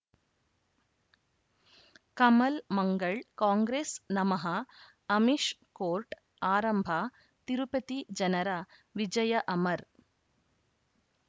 ಕಮಲ್ ಮಂಗಳ್ ಕಾಂಗ್ರೆಸ್ ನಮಃ ಅಮಿಷ್ ಕೋರ್ಟ್ ಆರಂಭ ತಿರುಪತಿ ಜನರ ವಿಜಯ ಅಮರ್